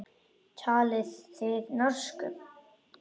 Talið þið norsku.